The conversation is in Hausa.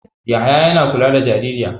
Yahaya yana kula da jaririya.